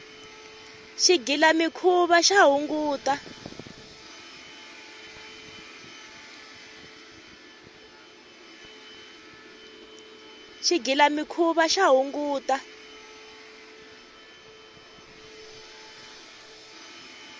xigilamikhuva xa hungata